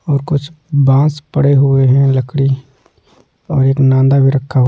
और कुछ बांस पड़े हुए हैं लकड़ी और एक नांदा भी रखा--